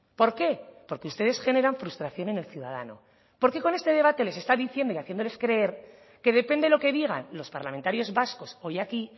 por qué porque ustedes generan frustración en el ciudadano porque con este debate les está diciendo y haciéndoles creer que depende lo que digan los parlamentarios vascos hoy aquí